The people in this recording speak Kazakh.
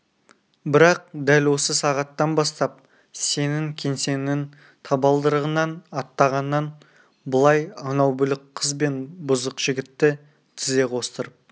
бірақ дәл осы сағаттан бастап сенің кеңсеңнің табалдырығынан аттағаннан былай анау бүлік қыз бен бұзық жігітті тізе қостырып